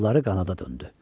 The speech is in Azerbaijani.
Qolları qanada döndü.